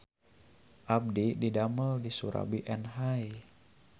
Abdi didamel di Soerabi Enhai